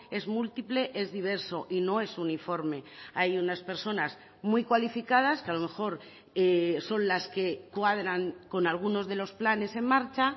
es múltiple es diverso y no es uniforme hay unas personas muy cualificadas que a lo mejor son las que cuadran con algunos de los planes en marcha